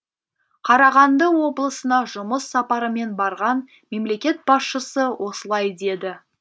қарағанды облысына жұмыс сапарымен барған мемлекет басшысы осылай деді